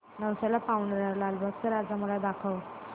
नवसाला पावणारा लालबागचा राजा मला दाखव